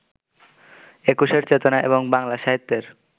একুশের চেতনা এবং বাংলা সাহিত্যের